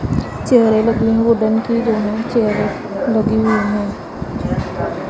चेयरे लगी हुई वुडन की दोनों चेयरे लगी हुई हैं।